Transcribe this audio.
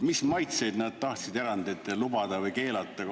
Mis maitseid nad tahtsid erandit lubada või keelata?